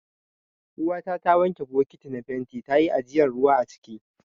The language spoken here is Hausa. Uwata ta wanke bokiti na fenti ta yi ajiyan ruwa aciki.